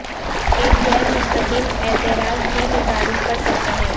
ایک غیر مستقیم اعتراض بھی متعارف کر سکتا ہے